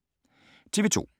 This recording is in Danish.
TV 2